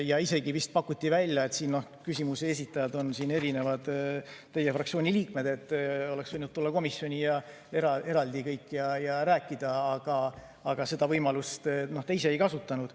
Ja isegi vist pakuti välja, et kuna esitajad on teie fraktsiooni erinevad liikmed, siis oleks nad võinud kõik eraldi komisjoni tulla ja rääkida, aga seda võimalust te ei kasutanud.